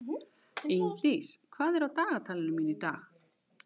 Ingdís, hvað er á dagatalinu mínu í dag?